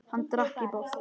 Hann drakk í botn.